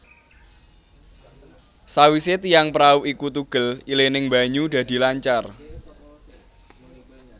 Sawise tiang prau iku tugel ilining banyu dadi lancar